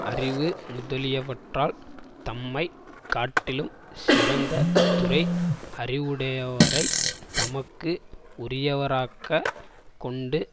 அறிவு முதலியவற்றால் தம்மை காட்டிலும் சிறந்த துறை அறிவுடையவரைத் தமக்கு உரியவராக் கொண்டு